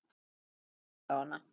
Mér líst vel á hana.